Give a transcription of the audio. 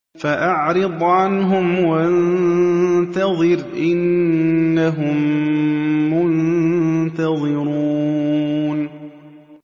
فَأَعْرِضْ عَنْهُمْ وَانتَظِرْ إِنَّهُم مُّنتَظِرُونَ